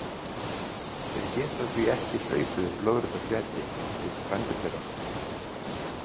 Þeir geta því ekki hlaupið upp lóðrétta fleti líkt og frændur þeirra.